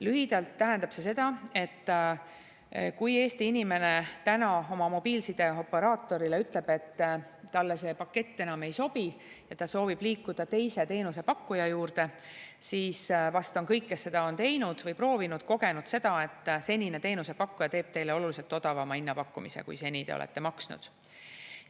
Lühidalt tähendab see seda, et kui Eesti inimene täna oma mobiilsideoperaatorile ütleb, et talle see pakett enam ei sobi ja ta soovib liikuda teise teenusepakkuja juurde, siis vast kõik, kes seda on teinud või proovinud, on kogenud, et senine teenusepakkuja teeb teile oluliselt odavama hinnapakkumise, kui te seni olete maksnud.